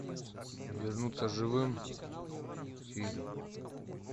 вернуться живым фильм